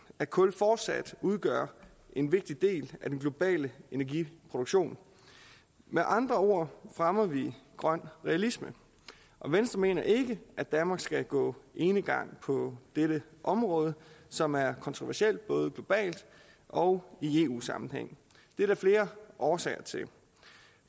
at kul fortsat udgør en vigtig del af den globale energiproduktion med andre ord fremmer vi grøn realisme og venstre mener ikke at danmark skal gå enegang på dette område som er kontroversielt både globalt og i eu sammenhæng det er der flere årsager til